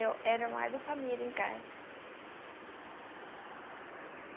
Eu era a mãe da família em casa.